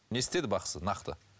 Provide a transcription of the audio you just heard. не істеді бақсы нақты